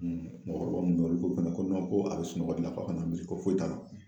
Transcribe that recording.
mɔgɔkɔrɔba minnu bɛ olu ko fana ko ko a bɛ sunɔgɔ de la kana mili ko foyi t'a la